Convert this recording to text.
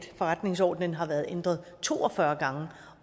forretningsordenen har været ændret to og fyrre gange